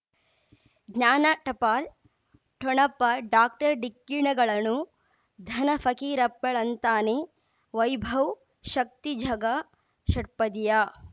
ಜ್ಞಾನ ಟಪಾಲ್ ಠೊಣಪ ಡಾಕ್ಟರ್ ಢಿಕ್ಕಿ ಣಗಳನು ಧನ ಫಕೀರಪ್ಪ ಳಂತಾನೆ ವೈಭವ್ ಶಕ್ತಿ ಝಗಾ ಷಟ್ಪದಿಯ